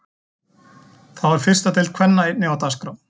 Þá er fyrsta deild kvenna einnig á dagskrá.